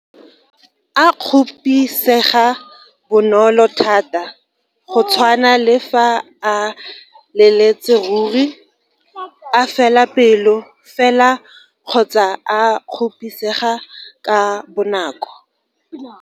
A kgopisega bonolo thata, go tshwana le fa a leletse ruri, a fela pelo fela kgotsa a kgopisega ka bonako.